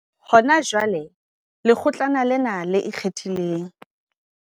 Hona jwale, Lekgotlana lena le Ikgethileng.